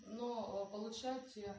но получшается я